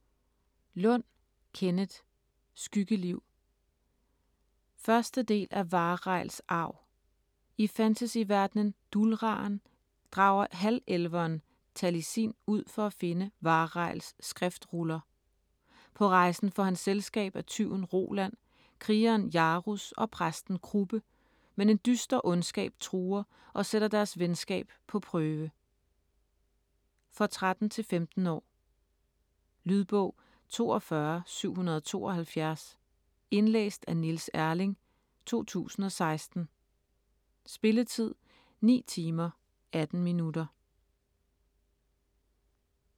Lund, Kenneth: Skyggeliv 1. del af Wahreils arv. I fantasyverdenen Duhlraen drager halvelveren Talisin ud for at finde Wahreils skriftruller. På rejsen får han selskab af tyven Roland, krigeren Jaruz og præsten Kruppe, men en dyster ondskab truer og sætter deres venskab på prøve. For 13-15 år. Lydbog 42772 Indlæst af Niels Erling, 2016. Spilletid: 9 timer, 18 minutter.